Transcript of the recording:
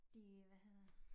De hvad hedder